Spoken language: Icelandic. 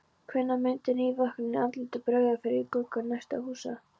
Hvenær myndi nývöknuðum andlitum bregða fyrir í gluggum næstu húsa?